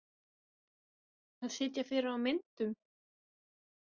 Að sitja fyrir á myndum?